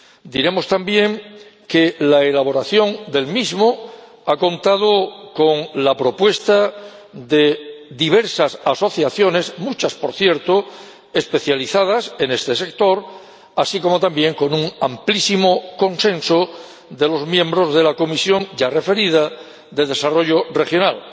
Diremos también que la elaboración del mismo ha contado con la propuesta de diversas asociaciones, muchas por cierto, especializadas en este sector, así como también con un amplísimo consenso de los miembros de la Comisión, ya referida, de Desarrollo Regional